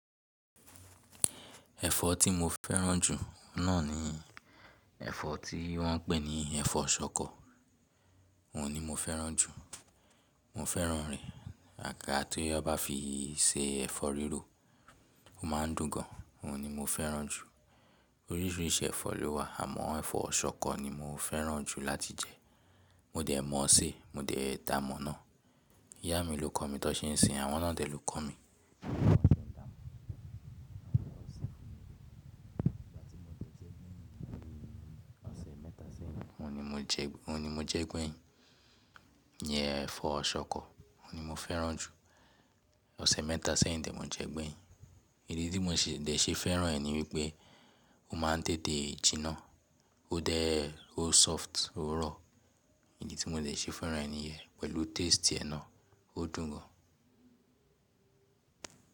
Ẹ̀fọ́ tí mo fẹ́ràn jù náà ni ẹ̀fọ́ tí wọ́n ń pè ní ẹ̀fọ́ ṣọkọ. Òun ni mo fẹ́ràn jù. Mo fẹ́ràn rẹ̀, àaga ti won ba fi ṣe ẹ̀fọ́ rírò, ó máa ń dùn gan. Òun ni mo fẹ́ràn jù. Oríṣìíríṣìí ẹ̀fọ́ ló wà, àmọ́ ẹ̀fọ́ ṣọkọ ni mo fẹ́ràn jù láti jẹ. Mo dẹ̀ mọ̀ ọ́ sé, mo dẹ̀ da mọ̀ ọ́n náà. Ìyá mi ló kọ̀ mí tí won n ṣe ń se, àwọn naa de lọ̀ kọ̀ mí. Ìgbà tí mo dẹ̀ jẹ gbẹ́yin ni bí i oṣe mẹ́ta sẹ́yìn. Òun ni mo jẹ gbẹ́yin. Nìyẹn ẹ̀fọ́ ṣọkọ, òun ni mo fẹ́ràn jù. Ọ̀sẹ̀ mẹ́ta sẹ́yìn de ni mo jẹ gbẹ́yin. Èyí tí mo si dẹ̀ ṣe fẹ́ràn ẹ́ ni wípé ó máa ń tètè jiná. Ó dẹ́, ó soft, ó rọ̀. Èyí tí mo dẹ̀ ṣe fẹ́ràn ẹ́ nìyẹn pẹ̀lú taste ẹ náà, ó dùn gan.